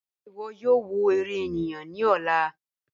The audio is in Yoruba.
Ṣẹ̀ ìwọ̀ yóò wọ̀ èrè ènìyàn ni ọ̀lá?"